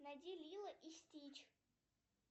найди лило и стич